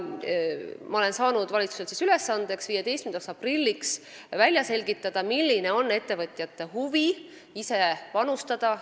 Ma olen saanud valitsuselt ülesandeks 15. aprilliks välja selgitada, kui suur on ettevõtjate huvi ise sellesse panustada.